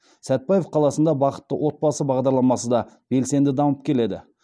сәтпаев қаласында бақытты отбасы бағдарламасы да белсенді дамып келеді